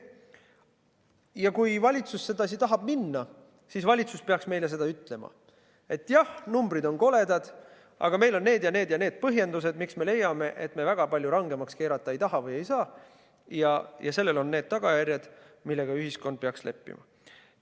Ja kui valitsus seda teed tahab minna, siis valitsus peaks meileütlema, et jah, numbrid on koledad, aga meil on need ja need ja need põhjendused, miks me leiame, et me väga palju rangemaks korda keerata ei taha või ei saa, ja sellel on need tagajärjed, millega ühiskond peaks leppima.